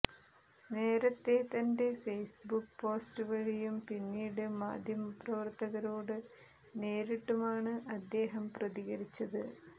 നേരത്തെ തന്റെ Facebook post വഴിയും പിന്നീട് മാധ്യമ പ്രവർത്തകരോട് നേരിട്ടുമാണ് അദ്ദേഹം പ്രതികരിച്ചത്